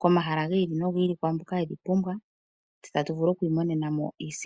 komahala gi ili no gi ili. Ookwandambi dho dhene oshilonga mutse.